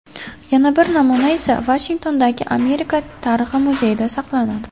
Yana bir namuna esa Vashingtondagi Amerika tarixi muzeyida saqlanadi.